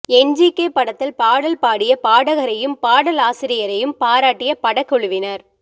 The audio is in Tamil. என் ஜி கே படத்தில் பாடல் பாடிய பாடகரையும் பாடலாசிரியரையும் பாராட்டிய படக்குழுவினர்